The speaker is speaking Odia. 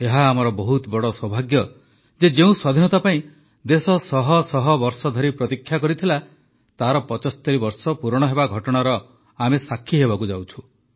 ଏହା ଆମର ବହୁତ ବଡ଼ ସୌଭାଗ୍ୟ ଯେ ଯେଉଁ ସ୍ୱାଧୀନତା ପାଇଁ ଦେଶ ଶହ ଶହ ବର୍ଷ ଧରି ପ୍ରତୀକ୍ଷା କଲା ତାହାର ୭୫ ବର୍ଷ ପୂରଣ ହେବା ଘଟଣାର ଆମେ ସାକ୍ଷୀ ହେବାକୁ ଯାଉଛୁ